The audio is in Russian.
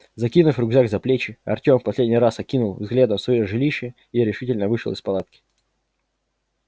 закинув рюкзак за плечи артём в последний раз окинул взглядом своё жилище и решительно вышел из палатки